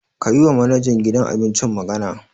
Ka yiwa manajan gidan abincin magana.